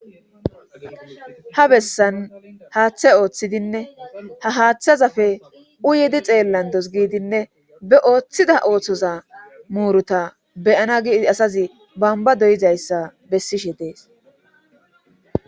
ha bessan haaththe ooththidinne ha haaththazafe uyedi xeellandos giidinne be ooththida ooththoza muuruta beyana gii asazi bamba doyizayssa bessishe dees